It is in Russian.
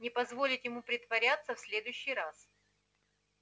не позволить ему притворяться в следующий раз